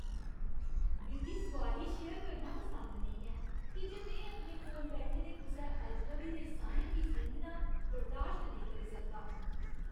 मिगी सोआरी शेयर करना पसंद नेईं ऐ की जे में अपने कोल बैठे दे कुसै अजनबी दे साहें गी सींघना बर्दाश्त नेईं करी सकदा।